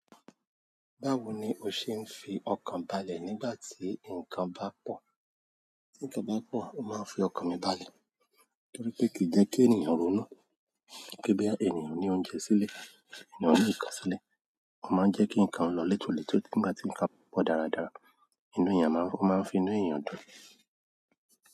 Báwo ni o ṣe ń fi ọkàn balẹ̀ nígbà tí nǹkan bá pọ̀? Nígbà tí nǹkan bá pọ̀, o máa ń fi ọkàn mi balẹ̀ torí pé kì í jẹ́ kí ènìyàn ronú. Pe boya ènìyàn ní oúnjẹ sílẹ̀, ènìyàn ní ìkán sílẹ̀. Ó máa ń jẹ́ kí nǹkan lọ létòletò. Nígbà tí nǹkan pọ̀ dáradára, inú èèyàn máa ń, ó máa ń fi inú èèyàn dùn.